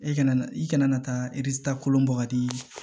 E kana na i kana na taa kolon bɔ ka di